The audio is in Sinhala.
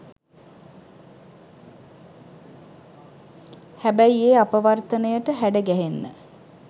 හැබැයි ඒ අපවර්තනයට හැඩගැහෙන්න